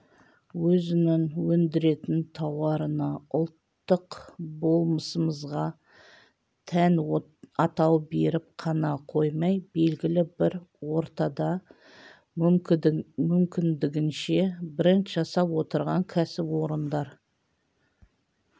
өзінің өндіретін тауарына ұлттық болмысымызға тән атау беріп қана қоймай белгілі бір ортада мүмкіндігінше бренд жасап отырған кәсіпорындар